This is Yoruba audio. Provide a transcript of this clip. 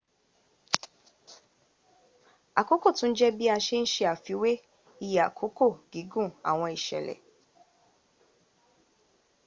àkókò tún jẹ́ bi a se ń ṣe àfiwẹ́ iye àkókò gígùn àwọn ìsẹ̀lẹ̀